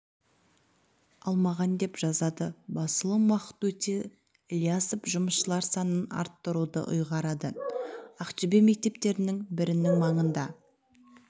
алмаған деп жазады басылым уақыт өте ілиясов жұмысшылар санын арттыруды ұйғарады ақтөбе мектептерінің бірінің маңында